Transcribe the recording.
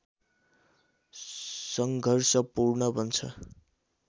सङ्घर्षपूर्ण बन्छ